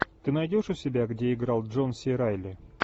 ты найдешь у себя где играл джон си райли